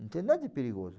Não tem nada de perigoso.